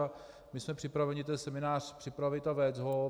A my jsme připraveni ten seminář připravit a vést ho.